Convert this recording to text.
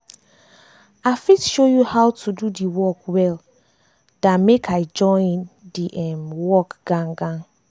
i fit show you how to do the work well dan make i join the um work gan gan.